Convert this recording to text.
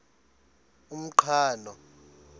umqhano